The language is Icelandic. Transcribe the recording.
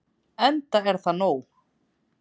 Enda er það nóg.